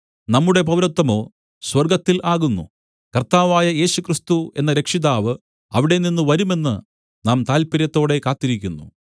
നമ്മുടെ പൗരത്വമോ സ്വർഗ്ഗത്തിൽ ആകുന്നു കർത്താവായ യേശുക്രിസ്തു എന്ന രക്ഷിതാവ് അവിടെനിന്നും വരുമെന്ന് നാം താല്പര്യത്തോടെ കാത്തിരിക്കുന്നു